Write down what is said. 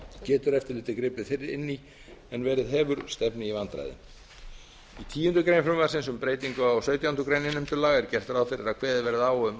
getur eftirlitið gripið fyrr inn í en verið hefur stefni í vandræði í tíundu greinar frumvarpsins um breytingu á sautjándu grein innheimtulaga er gert ráð fyrir að kveðið verði á um